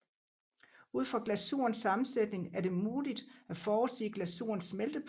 Ud fra glasurens sammensætning er det muligt at forudsige glasurens smeltepunkt